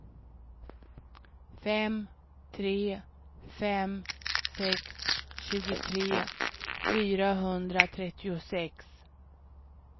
fem tre fem sex tjugotre fyrahundratrettiosex